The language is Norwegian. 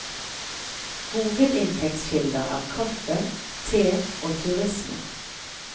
Hovedinntektskilder er kaffe, te og turisme.